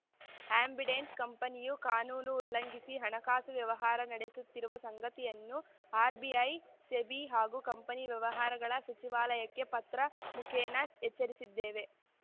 Ambidant ಕಂಪನಿಯು ಕಾನೂನು ಉಲ್ಲಂಘಿಸಿ ಹಣಕಾಸು ವ್ಯವಹಾರ ನಡೆಸುತ್ತಿರುವ ಸಂಗತಿಯನ್ನು ಆರ್‌ಬಿಐ ಸೆಬಿ ಹಾಗೂ ಕಂಪನಿ ವ್ಯವಹಾರಗಳ ಸಚಿವಾಲಯಕ್ಕೆ ಪತ್ರ ಮುಖೇನ ಎಚ್ಚರಿಸಿದ್ದೇವೆ